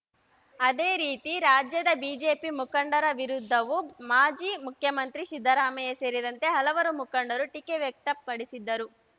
ಅದೇ ರೀತಿ ರಾಜ್ಯದ ಬಿಜೆಪಿ ಮುಖಂಡರ ವಿರುದ್ಧವೂ ಮಾಜಿ ಮುಖ್ಯಮಂತ್ರಿ ಸಿದ್ದರಾಮಯ್ಯ ಸೇರಿದಂತೆ ಹಲವು ಮುಖಂಡರು ಟೀಕೆ ವ್ಯಕ್ತಪಡಿಸಿದ್ದರು